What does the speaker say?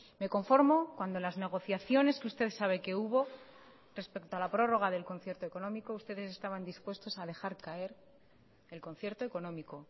me conformo cuando las negociaciones que usted sabe que hubo respecto a la prórroga del concierto económico ustedes estaban dispuestos a dejar caer el concierto económico